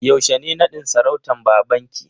Yaushe ne nadin sarautan babanki?